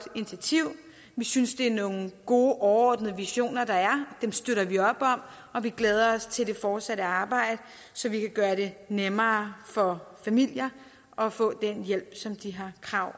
initiativ vi synes det er nogle gode overordnede visioner der er dem støtter vi op om og vi glæder os til det fortsatte arbejde så vi kan gøre det nemmere for familier at få den hjælp som de har krav